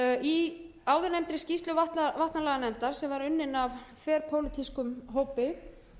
í áðurnefndri skýrslu vatnalaganefndar sem var unnin af þverpólitískum hópi